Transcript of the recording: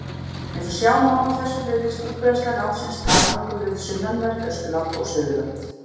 Eins og sjá má af þessu virðist útbreiðsla nafnsins takmörkuð við sunnanvert Austurland og Suðurland.